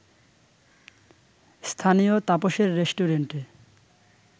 স্থানীয় তাপসের রেস্টুরেন্টে